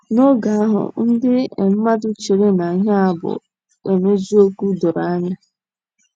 N’oge ahụ, ndị um mmadụ chere na ihe a bụ um eziokwu doro anya.